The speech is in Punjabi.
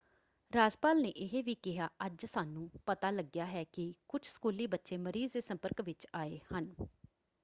ਰਾਜਪਾਲ ਨੇ ਇਹ ਵੀ ਕਿਹਾ ਅੱਜ ਸਾਨੂੰ ਪਤਾ ਲੱਗਿਆ ਹੈ ਕਿ ਕੁਝ ਸਕੂਲੀ ਬੱਚੇ ਮਰੀਜ਼ ਦੇ ਸੰਪਰਕ ਵਿੱਚ ਆਏ ਹਨ।